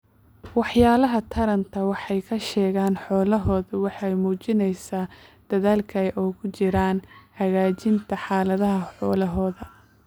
Waxyaalaha taranta waxay ka sheegaan xoolahooda waxay muujinaysaa dadaalka ay ugu jiraan hagaajinta xaaladda xoolaha.